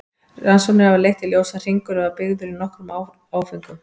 Rannsóknir hafa leitt í ljós að hringurinn var byggður í nokkrum áföngum.